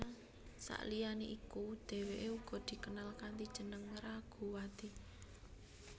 Saliyane iku dheweke uga dikenal kanthi jeneng Raguwati